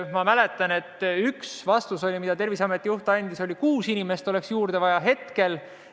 Ma mäletan, et üks vastus, mille Terviseameti juht andis, oli see, et hetkel oleks juurde vaja kuut inimest.